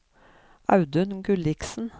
Audun Gulliksen